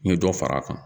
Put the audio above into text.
N ye dɔ far'a kan